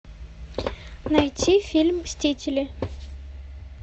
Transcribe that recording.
найти фильм мстители